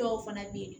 Dɔw fana bɛ yen